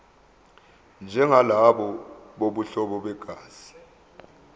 njengalabo bobuhlobo begazi